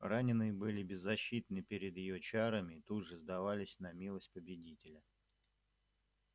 раненые были беззащитны перед её чарами и тут же сдавались на милость победителя